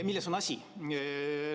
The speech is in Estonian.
Milles on asi?